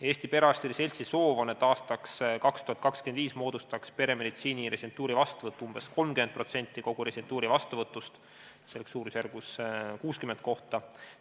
Eesti Perearstide Seltsi soov on, et aastaks 2025 moodustaks peremeditsiini residentuuri vastuvõtt umbes 30% kogu residentuuri vastuvõtust, see oleks suurusjärgus 60 kohta.